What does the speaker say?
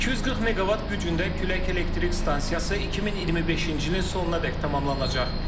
240 meqavat gücündə külək elektrik stansiyası 2025-ci ilin sonunadək tamamlanacaq.